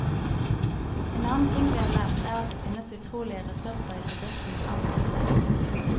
En annen ting vi har lært, er at det finnes utrolige ressurser i bedriftens ansatte.